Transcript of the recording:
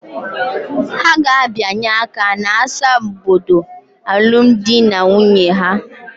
Ha ga-abịanye aka n'asambodo alụmdi na nwunye ha.